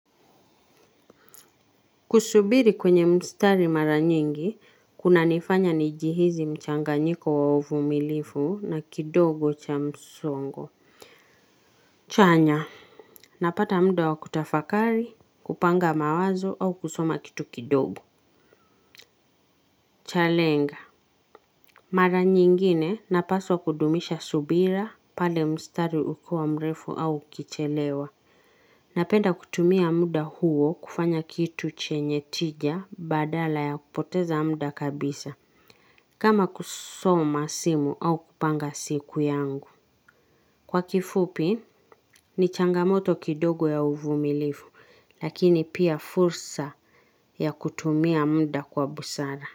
Kusubiri kwenye mstari mara nyingi, kuna nifanya nijihizi mchanga nyiko wa uvu milifu na kidogo cha msongo. Chanya. Napata mda wa kutafakari, kupanga mawazo au kusoma kitu kidogo. Chalenga. Mara nyingine napaswa kudumisha subira pale mstari ukuwa mrefu au ukichelewa. Napenda kutumia mda huo kufanya kitu chenye tija badala ya kupoteza mda kabisa. Kama kusoma simu au kupanga siku yangu. Kwa kifupi, ni changamoto kidogo ya uvu milifu, lakini pia fursa ya kutumia mda kwa busara.